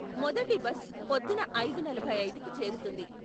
మొదటి బస్ పొద్దున్న ఐదు నలభై ఐదు కి చేరుతుంది.